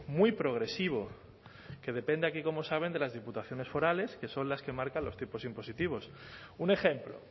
muy progresivo que depende aquí como saben de las diputaciones forales que son las que marcan los tipos impositivos un ejemplo